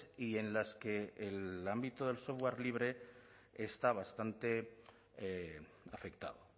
y en las que el ámbito del software libre está bastante afectado